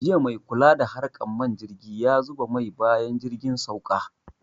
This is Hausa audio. Jiya maikula da harkan man jirgi yazuba mai bayan jirgin sauka